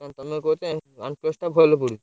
ଆଉ କଣ ତମେ କହୁଛ OnePlus ଟା ଭଲ ପଡୁଛି।